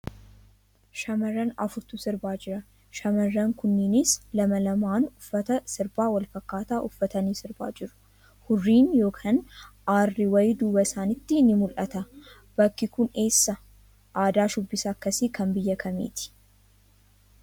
Shamarran afurtu sirbaa jira. Shamarran kunniinis lama lamaan uffata sirbaa wal fafakkaataa uffatanii sirbaa jiru. Hurriin yookaan aarri wayii duuba isaaniitti ni mul'ata. Bakki kun eessa? Aadaan shubbisaa akkasii kan biyya kamiiti?